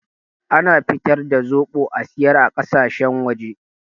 Ana fitar da zoɓo a siyar a ƙasashen waje